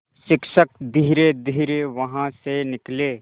शिक्षक धीरेधीरे वहाँ से निकले